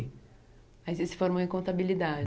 Aí você se formou em contabilidade.